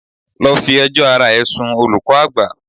Go and report yourself to the head master.